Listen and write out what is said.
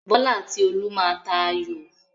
Bọ́lá àti Olú má a tà ayò.